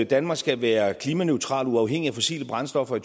danmark skal være klimaneutralt og uafhængigt af fossile brændstoffer i